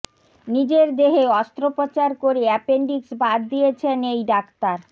নিজের দেহে অস্ত্রোপচার করে অ্যাপেনডিক্স বাদ দিয়েছেন এই ডাক্তার